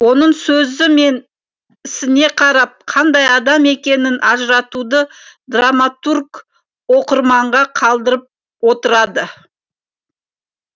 оның сөзі мен ісіне қарап қандай адам екенін ажыратуды драматург оқырманға қалдырып отырады